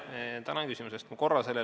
Tänan küsimuse eest!